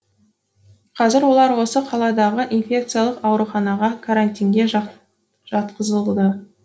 қазір олар осы қаладағы инфекциялық ауруханаға карантинге жатқызылды